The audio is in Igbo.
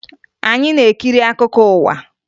Anyị na-ekiri akụkọ ụwa